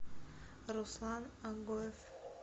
руслан агоев